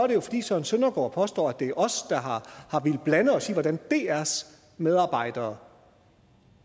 det jo fordi søren søndergaard påstår at det er os der har villet blande os i hvordan drs medarbejdere